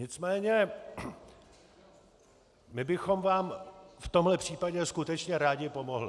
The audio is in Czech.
Nicméně my bychom vám v tomhle případě skutečně rádi pomohli.